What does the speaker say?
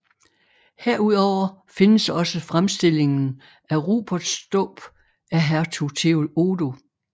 Herudover findes også fremstillingen af Ruperts dåb af hertug Theodo